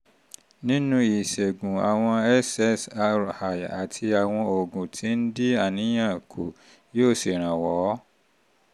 nínú ìṣègùn àwọn ssri àti àwọn oògùn tó ń dín àníyàn kù yóò ṣèrànwọ́